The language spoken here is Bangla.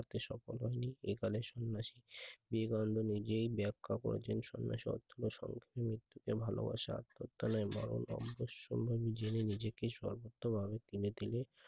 তাতে সফল হয়নি এ খানে সন্ন্যাসী বিবেকানন্দ নিজেই ব্যাখ্যা করেছেন সন্ন্যাসী অর্থ হল সম্পূর্ণ মৃত্যু কে ভালোবাসা আত্মহত্যা নয় বরং যথাসম্ভব নিজেকে নিজেকেই সর্বোত্ত ভাবে তিলে তিলে I